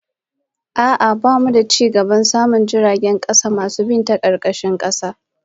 A'a, bamu da cigaban samun jiragen kasa masu bin karkashin kasa